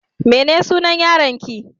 Me sunan yaron ki?